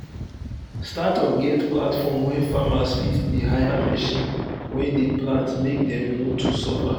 startup get platform wey farmers fit dey hire machine wey dey plant make dem no too suffer